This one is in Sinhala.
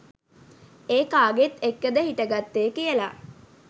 ඒ කාගෙත් එක්කද හිට ගත්තෙ කියලා?